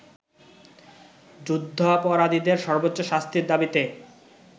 যুদ্ধাপরাধীদের সর্বোচ্চ শাস্তির দাবিতে